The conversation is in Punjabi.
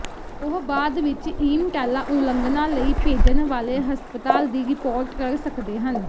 ਉਹ ਬਾਅਦ ਵਿਚ ਈਮਟਾਲਾ ਉਲੰਘਣਾ ਲਈ ਭੇਜਣ ਵਾਲੇ ਹਸਪਤਾਲ ਦੀ ਰਿਪੋਰਟ ਕਰ ਸਕਦੇ ਹਨ